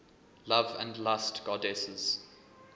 love and lust goddesses